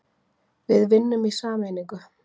Við vinnum í sameiningu.